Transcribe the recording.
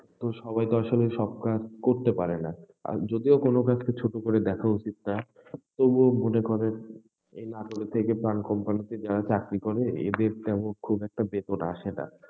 তো সবাই তো আসলে সব কাজ করতে পারেনা, যদিও কোন কাজ কে ছোট করে দেখা উঠিত না, তবুও মনে করেন, এই নাটোরের থেকে প্রাণ company তে যারা চাকরি করে, এদের তেমন খুব একটা বেতন আসেনা।